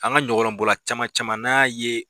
An ka ɲɔgɔlɔnbɔla caman caman n'an y'a ye